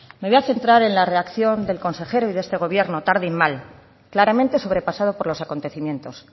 me voy a centrar en la reacción del consejero de este gobierno tarde y mal claramente sobrepasado por los acontecimientos